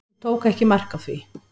Hún tók ekki mark á því.